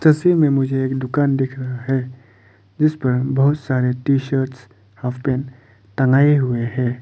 तस्वीर में मुझे एक दुकान दिख रहा है जिस पर बहुत सारे टी शर्ट्स हाफ पेंट टंगाए हुए हैं।